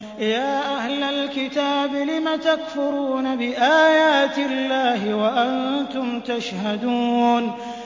يَا أَهْلَ الْكِتَابِ لِمَ تَكْفُرُونَ بِآيَاتِ اللَّهِ وَأَنتُمْ تَشْهَدُونَ